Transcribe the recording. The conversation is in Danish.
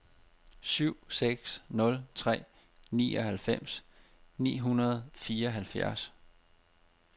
syv seks nul tre nioghalvfems ni hundrede og fireoghalvfjerds